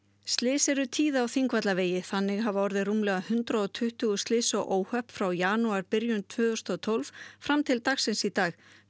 slys eru tíð á Þingvallavegi þannig hafa orðið rúmlega hundrað og tuttugu slys og óhöpp frá janúarbyrjun tvö þúsund og tólf fram til dagsins í dag